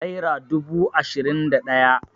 naira dubu ashirin da daya